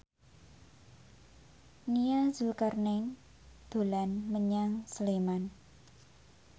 Nia Zulkarnaen dolan menyang Sleman